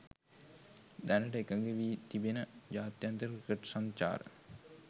දැනට එකඟ වී තිබෙන ජාත්‍යන්තර ක්‍රිකට් සංචාර